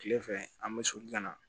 Tile fɛ an bɛ soli ka na